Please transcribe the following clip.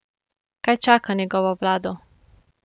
Kaj čaka njegovo vlado?